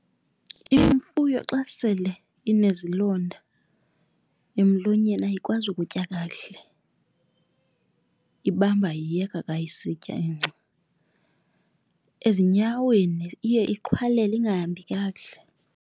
Imfuyo xa sele inezilonda emlonyeni ayikwazi ukutya kakuhle, ibamba iyeka ka isitya ingca. Ezinyaweni iye iqhwalele ingahambi kakuhle.